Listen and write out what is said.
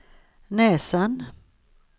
näsan